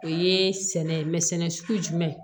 O ye sɛnɛ ye mɛ sɛnɛ sugu jumɛn